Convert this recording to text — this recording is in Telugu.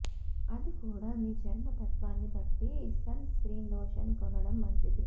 అది కూడా మీ చర్మ తత్వాన్ని బట్టి సన్ స్ర్కీన్ లోషన్ కొనడం మంచిది